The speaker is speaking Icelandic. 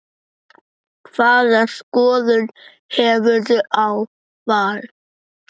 Hvaða skoðun hefurðu á Val?